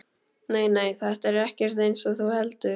Nei, nei, þetta er ekkert eins og þú heldur.